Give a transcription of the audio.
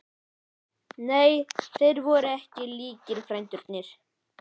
Nei, þeir voru ekki líkir, frændurnir.